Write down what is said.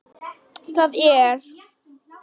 Það er.